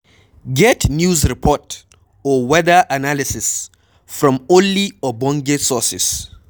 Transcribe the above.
Get news report or weather analysis from only ogbenge sources